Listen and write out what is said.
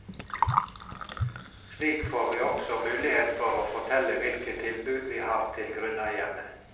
Slik får vi også mulighet for å fortelle hvilke tilbud vi har til grunneierne.